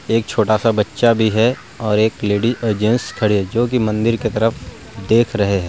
एक छोटा-सा बच्चा भी है और एक लेडिस और जेंट्स खड़े हैं जो की मंदिर की तरफ देख रहे हैं ।